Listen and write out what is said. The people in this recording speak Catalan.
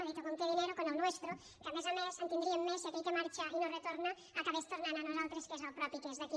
ha dit o con qué dinero con el nuestro que a més a més en tindríem més si aquell que marxa i no retorna acabés tornant a nosaltres que és el propi que és d’aquí